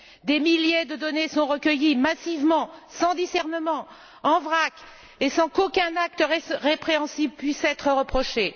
Des milliers de données sont recueillies massivement, sans discernement, en vrac et sans qu'aucun acte répréhensible ne puisse être reproché.